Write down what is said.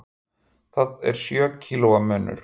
Það er sjö kílóa munur.